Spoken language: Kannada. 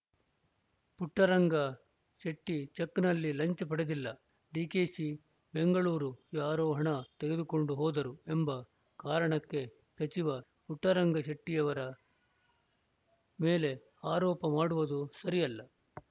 ಪುಟ್ಟರಂಗ ಶೆಟ್ಟಿಚೆಕ್‌ನಲ್ಲಿ ಲಂಚ ಪಡೆದಿಲ್ಲ ಡಿಕೆಶಿ ಬೆಂಗಳೂರು ಯಾರೋ ಹಣ ತೆಗೆದುಕೊಂಡು ಹೋದರು ಎಂಬ ಕಾರಣಕ್ಕೆ ಸಚಿವ ಪುಟ್ಟರಂಗಶೆಟ್ಟಿಅವರ ಮೇಲೆ ಆರೋಪ ಮಾಡುವುದು ಸರಿಯಲ್ಲ